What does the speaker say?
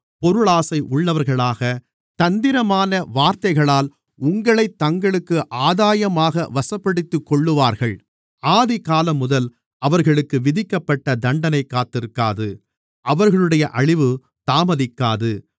பொருளாசை உள்ளவர்களாக தந்திரமான வார்த்தைகளால் உங்களைத் தங்களுக்கு ஆதாயமாக வசப்படுத்திக்கொள்ளுவார்கள் ஆதிகாலம்முதல் அவர்களுக்கு விதிக்கப்பட்ட தண்டனை காத்திருக்காது அவர்களுடைய அழிவு தாமதிக்காது